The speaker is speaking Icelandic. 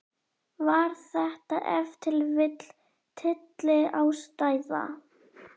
Var þetta ef til vill tylliástæða?